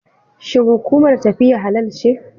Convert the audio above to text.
Shin hukumar tafiya halal ce?